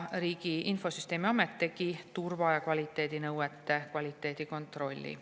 Riigi Infosüsteemi Amet tegi turva- ja kvaliteedinõuete kvaliteedikontrolli.